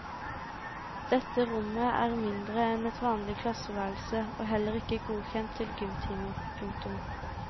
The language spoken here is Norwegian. Dette rommet er mindre enn et vanlig klasseværelse og heller ikke godkjent til gymtimer. punktum